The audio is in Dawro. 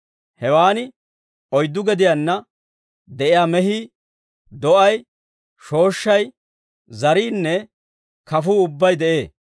Hewaan oyddu gediyaanna de'iyaa mehii, do'ay, shooshshay, zariinne kafuu ubbay de'ee.